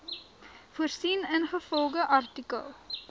voorsien ingevolge artikel